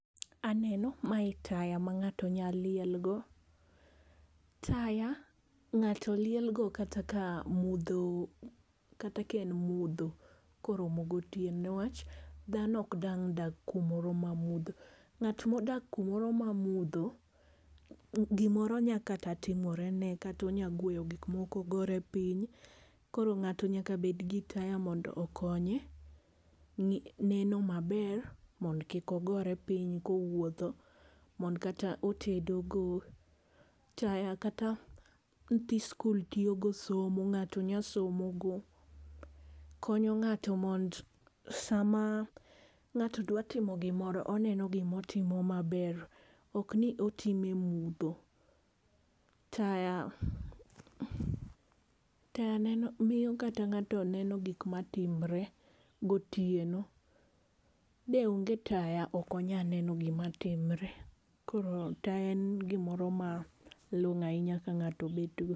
Aneno ma e taya ma ng'ato nya liel go. Taya ng'ato liel go kata ka en e mudho ko orom go otieno ne wach dhano ok dang dag ka moro ma mudho.Ng'at mo odak ku moro ma mudho gi oro nya timore ne kata ionya gweyo gik mko ogore piny koro ng'ato nyaka bed gi taya mondo okonye neno ma ber mondo kik ogore piny ka owuotho, mondo kata otedo go, taya kata nyithi skul tiyo go somo ng'ato nya somo go. Konyo ng'ato mondo sa ma ng'ato dwa timo gi moro oneno gi ma otimo ma ber ok ni otime e mudho. Taya ,taya miyo kata ng'ato neno gik ma timre go otieno de onge taya ok onya neno gik ma timre koro taya en gi moro ma long'o ahinya ka ng'ato bed go.